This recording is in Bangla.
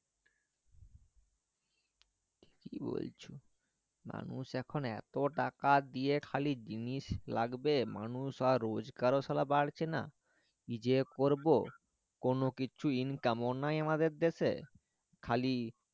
কি বলছো মানুষ এখন এতো টাকা দিয়ে জিনিস লাগবে মানুষ আর রোজগার ও বাড়ছে না কি যে করবো কোনো কিছু income ও নাই আমাদের দেশে খালি